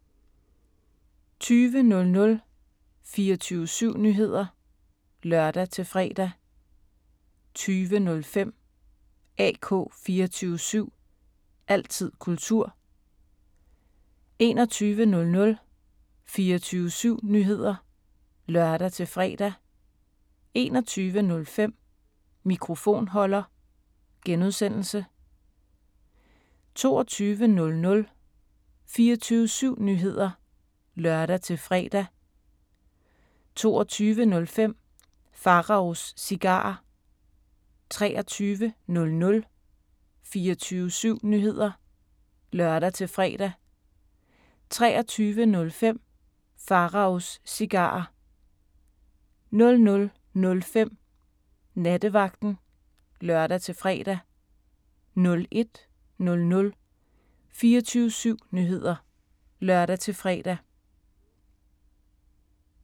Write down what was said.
20:00: 24syv Nyheder (lør-fre) 20:05: AK 24syv – altid kultur 21:00: 24syv Nyheder (lør-fre) 21:05: Mikrofonholder (G) 22:00: 24syv Nyheder (lør-fre) 22:05: Pharaos Cigarer 23:00: 24syv Nyheder (lør-fre) 23:05: Pharaos Cigarer 00:05: Nattevagten (lør-fre) 01:00: 24syv Nyheder (lør-fre)